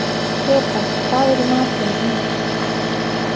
Þeba, hvað er í matinn?